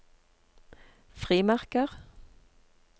frimerker